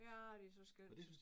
Ja det så skønt